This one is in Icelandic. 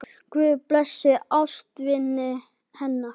Guð blessi ástvini hennar.